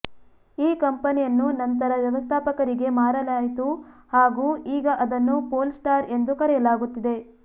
ಈ ಕಂಪನಿಯನ್ನು ನಂತರ ವ್ಯವಸ್ಥಾಪಕರಿಗೇ ಮಾರಲಾಯಿತು ಹಾಗೂ ಈಗ ಅದನ್ನು ಪೋಲ್ ಸ್ಟಾರ್ ಎಂದು ಕರೆಯಲಾಗುತ್ತಿದೆ